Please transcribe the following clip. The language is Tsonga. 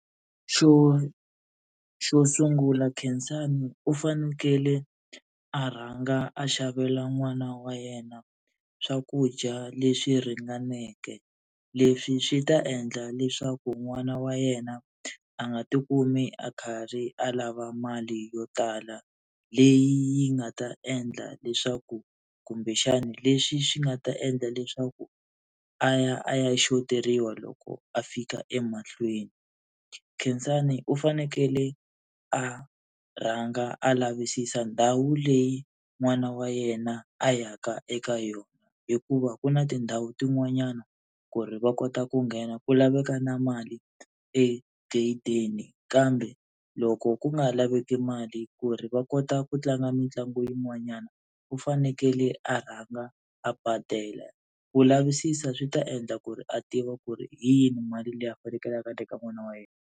Xo xo sungula Khensani u fanekele a rhanga a xavela n'wana wa yena swakudya leswi ringaneke leswi swi ta endla leswaku n'wana wa yena a nga tikumi a karhi a lava mali yo tala leyi nga ta endla leswaku kumbexani, leswi swi nga ta endla leswaku a ya a ya xoteriwa loko a fika emahlweni. Khensani u fanekele a rhanga a lavisisa ndhawu leyi n'wana wa yena a ya ka eka yona hikuva ku na tindhawu tin'wanyana ku ri va kota ku nghena ku laveka na mali egedeni kambe loko ku nga laveki mali ku ri va kota ku tlanga mitlangu yin'wanyana u fanekele a rhanga a badela ku lavisisa swi ta endla ku ri a tiva ku ri hi yihi mali leyi a fanekeleke a teka n'wana wa yena.